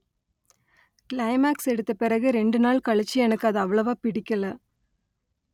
climax எடுத்த பிறகு இரண்டு நாள் கழிச்சு எனக்கு அது அவ்வளவா பிடிக்கலை